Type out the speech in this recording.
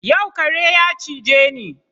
Yau kare ya cije ni